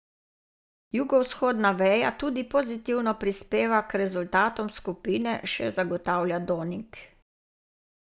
Jugovzhodna veja tudi pozitivno prispeva k rezultatom skupine, še zagotavlja Donig.